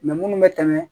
munnu bɛ tɛmɛ